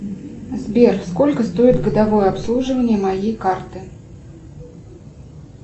сбер сколько стоит годовое обслуживание моей карты